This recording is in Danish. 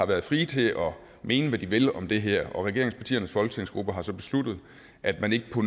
været frie til at mene hvad de vil om det her og regeringspartiernes folketingsgrupper har så besluttet at man ikke på